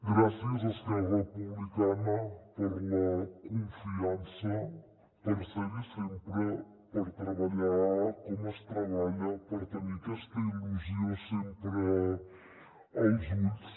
gràcies esquerra republicana per la confiança per ser hi sempre per treballar com es treballa per tenir aquesta il·lusió sempre als ulls